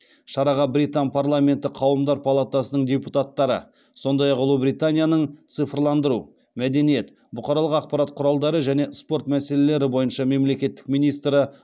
шараға британ парламенті қауымдар палатасының депутаттары сондай ақ ұлыбританияның цифрландыру мәдениет бұқаралық ақпарат құралдары және спорт мәселелері бойынша мемлекеттік министрі